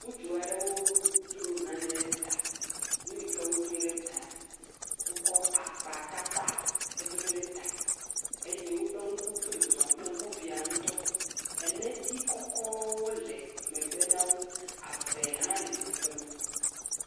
Ŋutsu aɖewo dro nane ɖe ta, nu yi ke wpdo ɖe ta, wokɔ akpatata kɔdo ɖe ta, eye woƒe ŋku, wole zɔzɔm kple ŋkubia ŋutɔ, eneti kɔkɔwo le megbe na wo, ave hã le teƒe ma.